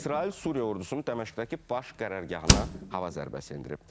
İsrail Suriya ordusunun Dəməşqdəki baş qərargahına hava zərbəsi endirib.